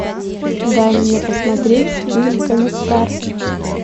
дай мне посмотреть фильм комиссар